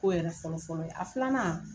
Ko yɛrɛ fɔlɔ fɔlɔ ye, a filanan